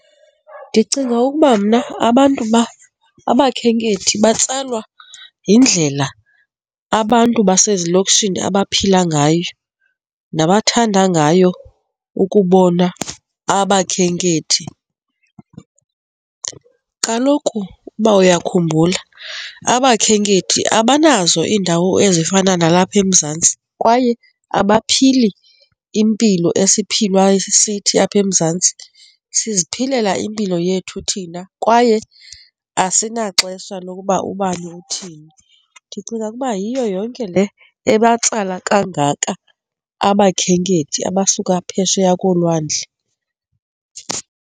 Ndicinga ukuba mna abantu abakhenkethi batsalwa yindlela abantu basezilokishini abaphila ngayo nabathanda ngayo ukubona abakhenkethi. Kaloku uba uyakhumbula abakhenkethi abanazo iindawo ezifana nalapha eMzantsi kwaye abaphili impilo esiphilwa sithi apha eMzantsi, siziphilela impilo yethu thina kwaye asinaxesha lokuba ubani uthini. Ndicinga ukuba yiyo yonke le abatsala kangaka abakhenkethi abasuka phesheya kolwandle.